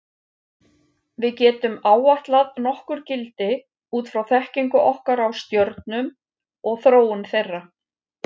Við getum áætlað nokkur gildi út frá þekkingu okkar á stjörnum og þróun þeirra.